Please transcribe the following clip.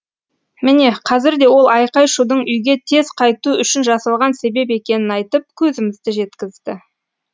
міне қазір де ол айқай шудың үйге тез қайту үшін жасалған себеп екенін айтып көзімізді жеткізді